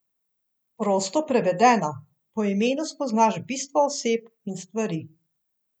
Prosto prevedeno, po imenu spoznaš bistvo oseb in stvari.